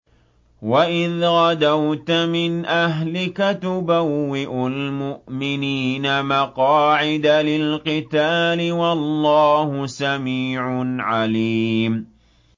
وَإِذْ غَدَوْتَ مِنْ أَهْلِكَ تُبَوِّئُ الْمُؤْمِنِينَ مَقَاعِدَ لِلْقِتَالِ ۗ وَاللَّهُ سَمِيعٌ عَلِيمٌ